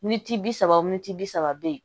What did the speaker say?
Militi bi saba miniti bi saba bɛ yen